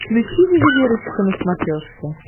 включи ювелирочка на смотрешке